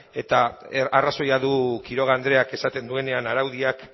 eta arrazoia du quiroga andreak esaten duenean araudiak